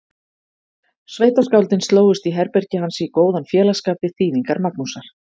Sveitaskáldin slógust í herbergi hans í góðan félagsskap við þýðingar Magnúsar